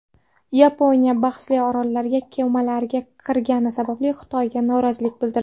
Yaponiya bahsli orollarga kemalari kirgani sababli Xitoyga norozilik bildirdi.